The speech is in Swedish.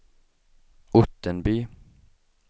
Ottenby